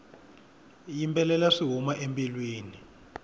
yimbelela swi huma embilwini